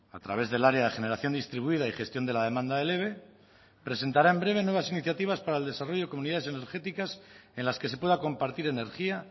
a través del área de generación distribuida y gestión de la demanda del eve presentará en breve nuevas iniciativas para el desarrollo de comunidades energéticas en las que se pueda compartir energía